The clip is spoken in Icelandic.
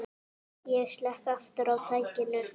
Ég slekk aftur á tækinu.